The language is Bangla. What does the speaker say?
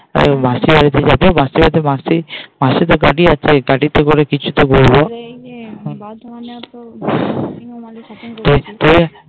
এই মাসির বাড়িতে যাবো মাসির বাড়িতে মাসি মাসির তো গাড়ি আছেই গাড়িতে করে কিছুটা বৈভ